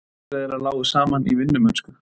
Leiðir þeirra lágu saman í vinnumennsku.